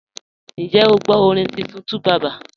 Ǹjẹ́ o gbọ orin tuntun 2Baba?